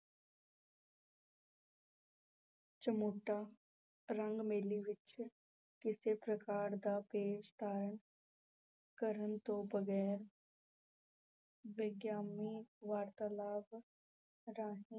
ਚਮੋਟਾ ਰੰਗ ਮੈਲੀ ਵਿੱਚ ਕਿਸੇ ਪ੍ਰਕਾਰ ਦਾ ਭੇਸ ਧਾਰਨ ਕਰਨ ਤੋਂ ਬਗ਼ੈਰ ਵਿਅੰਗਮਈ ਵਾਰਤਾਲਾਪ ਰਾਹੀਂ